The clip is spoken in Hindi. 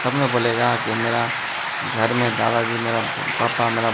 तब ना बोलेगा कि मेरा घर में दादा जी मेरा पापा मेरा--